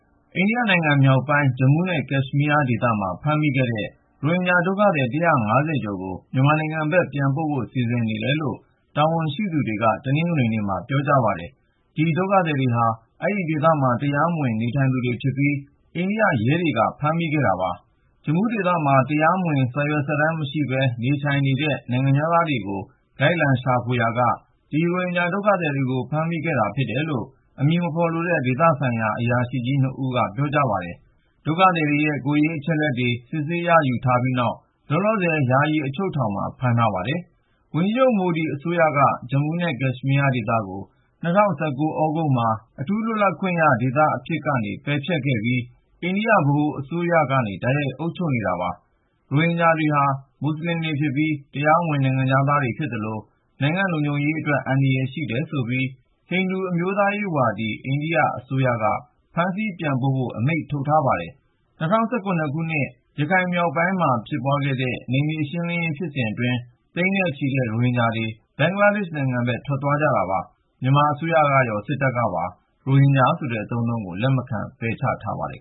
အိန္ဒိယနိုင်ငံမြောက်ပိုင်း Jammu နဲ့ Kashmir ဒေသမှာ ဖမ်းမိခဲ့တဲ့ ရိုဟင်ဂျာဒုက္ခသည် (၁၅၀)ကျော်ကို မြန်မာနိုင်ငံဘက် ပြန်ပို့ဖို့ စီစဉ်နေတယ်လို့ တာဝန်ရှိသူတွေက တနင်္ဂနွေနေ့မှ ပြောပါတယ်။ ဒီ ဒုက္ခသည်တွေဟာ အဲဒီဒေသမှာ တရားမဝင် နေထိုင်သူတွေဖြစ်ပြီး အိန္ဒိယရဲတွေက ဖမ်းမိခဲ့တာပါ။ Jammu ဒေသမှာ တရားဝင် စာရွက်စာတမ်းမရှိပဲ နေထိုင်နေတဲ့ နိုင်ငံခြားသားတွေကို လိုက်လံရှာဖွေရာက ဒီရိုဟင်ဂျာ ဒုက္ခသည်တွေကို ဖမ်းမိခဲ့တာ ဖြစ်တယ်လို့ အမည်မဖေါ်လိုတဲ့ ဒေသဆိုင်ရာ အရာရှိ(၂)ဦးက ပြောပါတယ်။ ဒုက္ခသည်တွေရဲ့ ကိုယ်ရေးအချက်အလက်တွေ စစ်ဆေး ရယူထားပြီးနောက် လောလောဆယ် ယာယီအချုပ်ထောင်မှာ ဖမ်းဆီးထားပါတယ်။ ဝန်ကြီးချုပ် မိုဒီ အစိုးရက Jammu နဲ့ Kashmir ဒေသကို ၂၀၁၉ သြဂုတ်လမှာ အထူးလွတ်လပ်ခွင့်ရ ဒေသအဖြစ်ကနေ ပယ်ဖျက်ခဲ့ပြီး ၊ အိန္ဒိယ ဗဟိုအစိုးရကနေ တိုက်ရိုက် အုပ်ချုပ်နေတာ ဖြစ်ပါတယ်။ ရိုဟင်ဂျာတွေဟာ မူဆလင်တွေဖြစ်ပြီး ၊ တရားမဝင် နိုင်ငံခြားသားတွေဖြစ်သလို ၊ နိုင်ငံ့လုံခြုံရေးအတွက် အန္တရာယ်ရှိတယ်ဆိုပြီး ဟိန္ဒူအမျိုးသားရေးဝါဒီ အိန္ဒိယအစိုးရက ဖမ်းဆီး ပြန်ပို့ဖို့ အမိန့်ထုတ်ထားပါတယ်။ ၂၀၁၇ ခုနှစ် ရခိုင်မြောက်ပိုင်းကို ARSA အကြမ်းဖက်အဖွဲ့တေ ွ ဝင်ရောက်တိုက်ခိုက်ခဲ့ပြီး နောက်ပိုင်း မြန်မာစစ်တပ်ရဲ့ နယ်မြေရှင်းလင်းရေးဖြစ်စဉ်အတွင်း သိန်းနဲ့ချီတဲ့ ရိုဟင်ဂျာတွေ ဘင်္ဂလားဒေ့ရှ် နယ်စပ်ဖက် ထွက်သွားကြတာပါ။ မြန်မာအစိုးရကရော စစ်တပ်ကပါ ရိုဟင်ဂျာဆိုတဲ့ အသုံးအနှုန်းကို လက်မခံ ပယ်ချထားပါတယ်